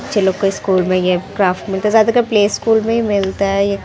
बच्चे लोग के स्कूल में क्राफ्ट मिलता जाता है प्ले स्कूल मिलते है।